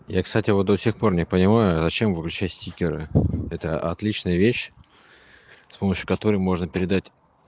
я кстати вот до сих пор не понимаю зачем выключать стикеры это отличная вещь с помощью которой можно передать